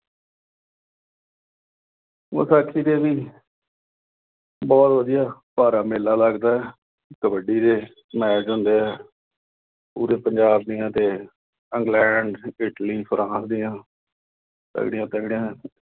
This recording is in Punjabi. ਵਿਸਾਖੀ ਤੇ ਵੀ ਬਹੁਤ ਵਧੀਆ, ਭਾਰਾ ਮੇਲਾ ਲੱਗਦਾ। ਕਬੱਡੀ ਦੇ match ਹੁੰਦੇ ਆ। ਪੂਰੇ ਪੰਜਾਬ ਦੀਆਂ ਤੇ ਇੰਗਲੈਂਡ, ਇਟਲੀ, ਫਰਾਂਸ ਦੀਆਂ ਤਕੜੀਆਂ-ਤਕੜੀਆਂ